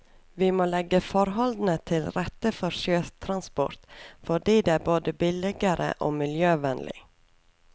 Vi må legge forholdene til rette for sjøtransport, fordi det er både billigere og miljøvennlig.